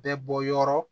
Bɛɛ bɔyɔrɔ